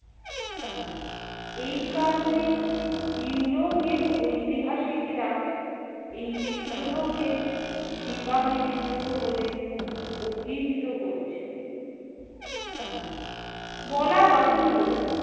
এই কারণে ইউরোপীয় ঐতিহাসিকরা এই বিদ্রোহকে সিপাহী বিদ্রোহ বলে অবিহিত করেছেন। বলা বাহুল্য